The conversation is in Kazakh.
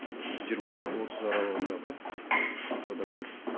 жиырма отыз аралығындағы жас адамдар